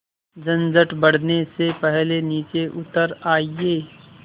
झंझट बढ़ने से पहले नीचे उतर आइए